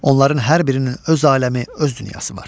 Onların hər birinin öz aləmi, öz dünyası var.